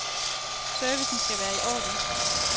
Servicen skal være i orden.